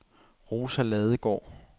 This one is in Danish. Rosa Ladegaard